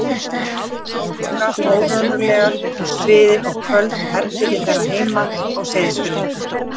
Ef litið er hins vegar á einstök háhitasvæði á gliðnunarbeltinu, þá hafa þau takmarkaða ævilengd.